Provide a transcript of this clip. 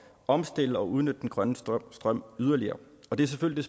omstille og udnytte den grønne strøm strøm yderligere og det er selvfølgelig